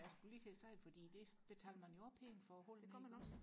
ja lige præcis for det betaler man jo også penge for og holde nede i byen